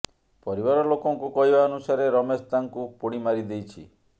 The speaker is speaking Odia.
ପରିବାର ଲୋକଙ୍କୁ କହିବା ଅନୁସାରୋ ରମେଶ ତାଙ୍କୁ ପୋଡ଼ି ମାରିଦେଇଛି